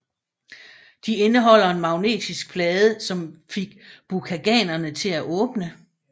De indeholder en magnetisk plade som får Bakuganerne til at åbne